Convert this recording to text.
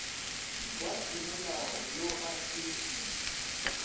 wa semolao yo a se